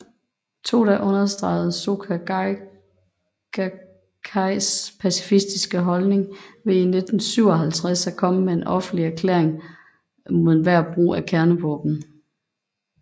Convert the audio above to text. Toda understregede Soka Gakkais pacifistiske holdning ved i 1957 at komme med en offentlig erklæring mod enhver brug af kernevåben